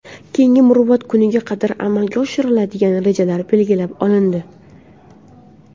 Keyingi muruvvat kuniga qadar amalga oshiriladigan rejalar belgilab olindi.